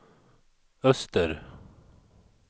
öster